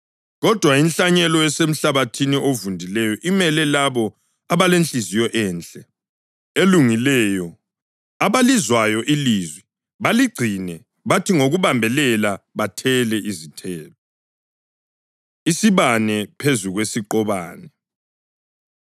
Kodwa inhlanyelo esemhlabathini ovundileyo imele labo abalenhliziyo enhle, elungileyo, abalizwayo ilizwi, baligcine bathi ngokubambelela bathele izithelo.” Isibane Phezu Kwesiqobane